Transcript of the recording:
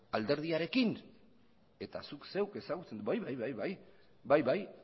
alderdiarekin eta zuk zeuk ezagutzen bai bai bai bai bai bai